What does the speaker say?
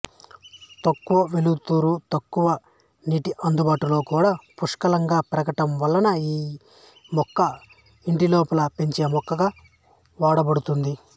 తక్కువ వెలుతురు తక్కువ నీటి అందుబాటులో కూడా పుష్కలంగా పెరగటం వలన ఈ మొక్క ఇంటిలోపల పెంచే మొక్కగా వాడబడుతుంది